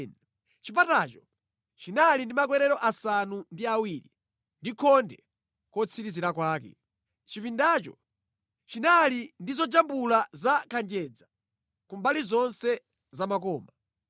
Chipatacho chinali ndi makwerero asanu ndi awiri ndi khonde kotsirizira kwake. Chipindacho chinali ndi zojambula za kanjedza ku mbali zonse za makoma.